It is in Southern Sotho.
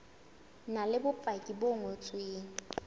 na le bopaki bo ngotsweng